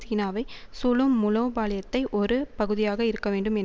சீனாவை சூழும் மூலோபாலயத்தை ஒரு பகுதியாக இருக்கும் என்